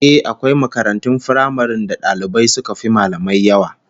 Ehh, akwai makarantun firamaren da dalibai suka fi mallamai yawa